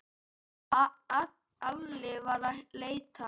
Alli var að leita.